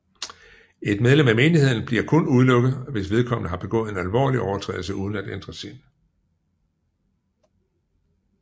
Et medlem af menigheden bliver kun udelukket hvis vedkommende har begået en alvorlig overtrædelse uden at ændre sind